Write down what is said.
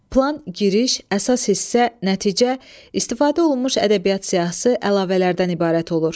Plan giriş, əsas hissə, nəticə, istifadə olunmuş ədəbiyyat siyahısı, əlavələrdən ibarət olur.